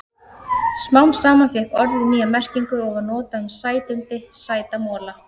Smám saman fékk orðið nýja merkingu og var notað um sætindi, sæta mola.